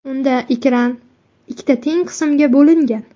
Unda ekran ikkita teng qismga bo‘lingan.